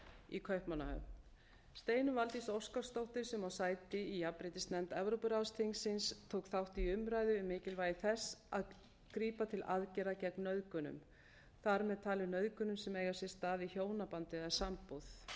í kaupmannahöfn steinunn valdís óskarsdóttir sem á sæti í jafnréttisnefnd evrópuráðsþingsins tók þátt í umræðu um mikilvægi þess að grípa til aðgerða gegn nauðgunum þar með talið nauðgunum sem eiga sér stað í hjónabandi eða sambúð